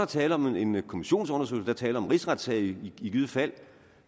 tale om en kommissionsundersøgelse der er tale om en rigsretssag i givet fald